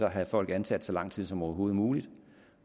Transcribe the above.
har folk ansat så lang tid som overhovedet muligt